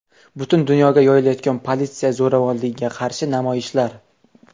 Butun dunyoga yoyilayotgan politsiya zo‘ravonligiga qarshi namoyishlar.